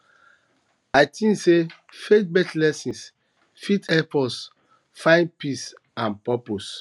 i tink sey faithbased lessons fit help us find peace and purpose